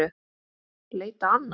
Leita annað?